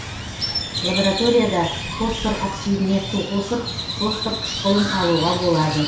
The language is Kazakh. лабораторияда фосфор оксидіне су қосып фосфор қышкылын алуға болады